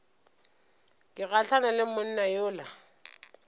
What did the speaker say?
ke gahlane le monna yola